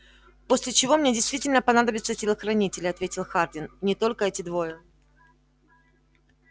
после чего мне действительно понадобятся телохранители ответил хардин и не только эти двое